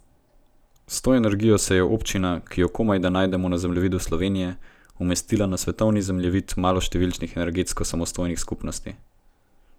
S to energijo se je občina, ki jo komajda najdemo na zemljevidu Slovenije, umestila na svetovni zemljevid maloštevilnih energetsko samostojnih skupnosti.